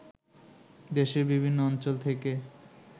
দেশের বিভিন্ন অঞ্চল থেকে